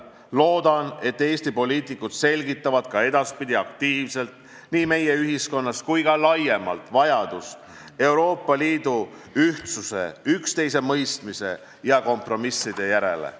Loodan, et Eesti poliitikud selgitavad ka edaspidi aktiivselt nii meie ühiskonnas kui ka laiemalt vajadust Euroopa Liidu ühtsuse, üksteisemõistmise ja kompromisside järele.